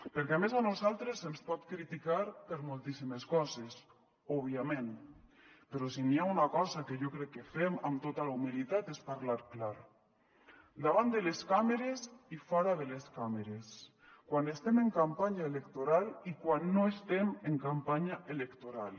perquè a més a nosaltres se’ns pot criticar per moltíssimes coses òbviament però si n’hi ha una cosa que jo crec que fem amb tota la humilitat és parlar clar davant de les càmeres i fora de les càmeres quan estem en campanya electoral i quan no estem en campanya electoral